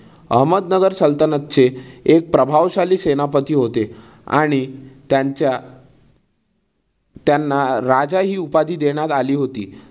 अहमदनगर सल्तनतचे एक प्रभावशाली सेनापती होते आणि त्यांच्या त्यांना राजा हि उपाधी देण्यात आली होती.